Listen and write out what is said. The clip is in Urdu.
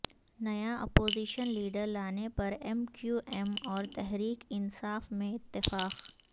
نیا اپوزیشن لیڈر لانے پر ایم کیو ایم اور تحریک انصاف میں اتفاق